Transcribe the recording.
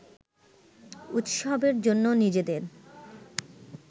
উৎসবের জন্য নিজেদের